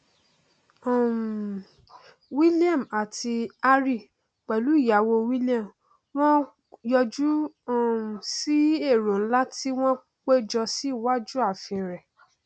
um william àti harry pẹlú ìyàwó william wọn yọjú um sí èrò nlá tí wọn péjọ sí iwájú àfin rẹ